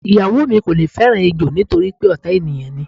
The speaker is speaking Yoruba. Ìyàwó mi kò le fé̩ràn ejò nítorí pé ò̩tá ènìyàn ni.